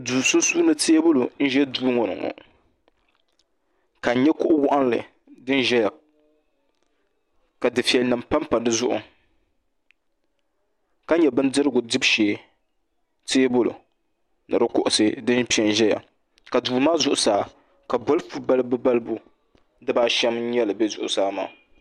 duu sunsuuni teebuli n ʒɛ duu ŋɔ ni ŋɔ ka n nyɛ kuɣu waɣanli ni ʒɛya ka dufɛli nim panpa dizuɣu ka nyɛ Bindirigu dibu shee teebuli ni di kuɣusi din piɛ n ʒɛya ka duu maa zuɣusaa bolifu balibu balibu dibaa ashɛm n nyɛli bɛ zuɣusaa maa